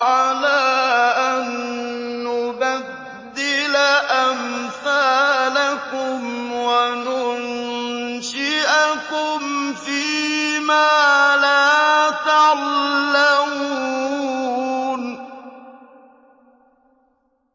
عَلَىٰ أَن نُّبَدِّلَ أَمْثَالَكُمْ وَنُنشِئَكُمْ فِي مَا لَا تَعْلَمُونَ